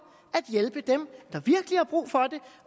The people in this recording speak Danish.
at hjælpe dem der virkelig har brug for det